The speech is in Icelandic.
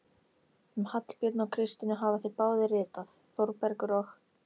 Um Hallbjörn og Kristínu hafa þeir báðir ritað, Þórbergur og